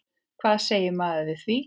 Hvað segir maður við því?